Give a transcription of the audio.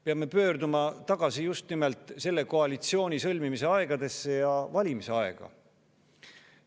Peame pöörduma tagasi just nimelt selle koalitsiooni sõlmimise ja valimiste aega.